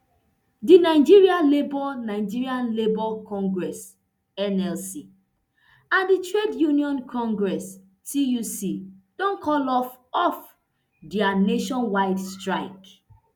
di nigeria labour nigeria labour congress nlc and di trade union congress tuc don call off off dia nationwide strike